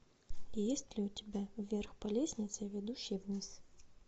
есть ли у тебя вверх по лестнице ведущей вниз